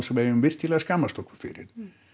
sem við eigum virkilega að skammast okkar fyrir